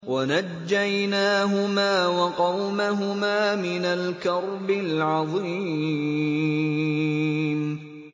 وَنَجَّيْنَاهُمَا وَقَوْمَهُمَا مِنَ الْكَرْبِ الْعَظِيمِ